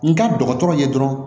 N ka dɔgɔtɔrɔw ye dɔrɔn